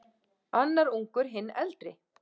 Annar ungur, hinn eldri.